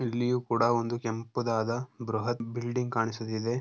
ಇಲ್ಲಿಯೂ ಕೂಡ ಒಂದು ಕೆಂಪು ದಾದ ಬೃಹತ್ ಬಿಲ್ಡಿಂಗ್ ಕಾಣಿಸುತ್ತಿದೆ.